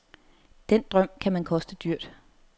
Den drøm kan man koste dyrt.